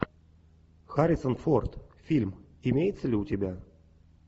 харрисон форд фильм имеется ли у тебя